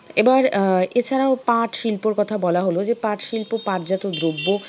এবার আহ এছাড়াও পাটশিল্পের কথা বলা হলো যে পাটশিল্প পাটজাত দ্রব্য